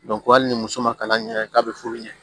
hali ni muso ma kalan ɲɛ k'a bɛ furu ɲɛ